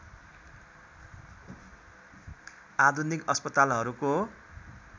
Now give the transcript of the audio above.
आधुनिक अस्पतालहरूको